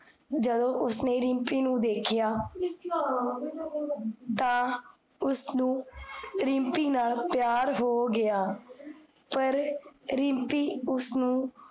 ਜਦੋਂ ਉਸਨੇ ਰਿਮ੍ਪੀ ਨੂ ਵੇਖਿਆ ਤਾਂ, ਉਸਨੂੰ ਰਿਮ੍ਪੀ ਨਾਲ ਪਿਆਰ ਹੋ ਗਿਆ ਪਰ, ਰਿਮ੍ਪੀ ਉਸਨੂੰ